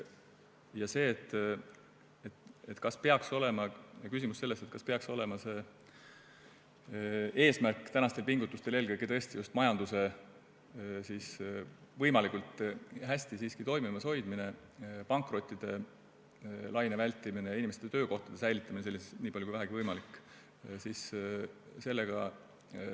Kas tänaste pingutuste eesmärk peaks olema eelkõige just majanduse võimalikult hästi toimimas hoidmine, pankrotilaine vältimine, töökohtade säilitamine, niipalju kui vähegi võimalik?